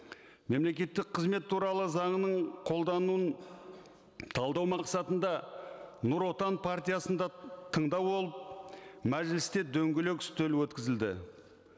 мемлекеттік қызмет туралы заңының қолдануын талдау мақсатында нұр отан партиясында тыңдау болып мәжілісте дөңгелек үстел өткізілді